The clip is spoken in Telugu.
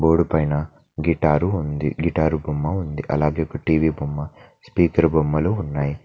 గోడ పైన గిటారు ఉంది గిటారు బొమ్మ ఉంది అలాగే ఒక టీవి బొమ్మ స్పీకర్ బొమ్మలు ఉన్నాయి.